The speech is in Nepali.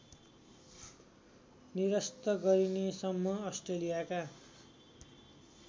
निरस्त गरिनेसम्म अस्ट्रेलियाका